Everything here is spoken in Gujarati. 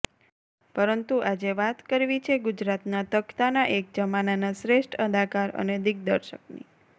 પરંતુ આજે વાત કરવી છે ગુજરાતના તખતાના એક જમાનાના શ્રેષ્ઠ અદાકાર અને દિગ્દર્શકની